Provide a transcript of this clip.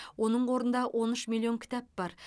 оның қорында он үш миллион кітап бар